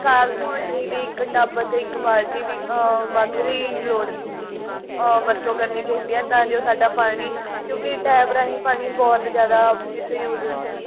ਕਾਰ ਧੋਣ ਲਈ ਵੀ ਇੱਕ ਟੱਬ ਤੇ ਇੱਕ ਬਾਲਟੀ ਦੀ ah ਮੱਗ ਦੀ ਲੋੜ ah ਵਰਤੋਂ ਕਰਨੀ ਚਾਹੀਦੀ ਆ ਤਾਂ ਜੋ ਸਾਡਾ ਪਾਣੀ ਕਿਉਂਕੀ tab ਰਾਹੀਂ ਪਾਣੀ ਬਹੁਤ ਜ਼ਿਆਦਾ miss use ਹੁੰਦਾ ਏ